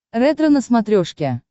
ретро на смотрешке